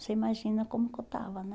Você imagina como que eu estava, né?